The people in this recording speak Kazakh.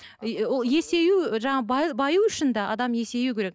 есею жаңағы баю үшін де адам есеюі керек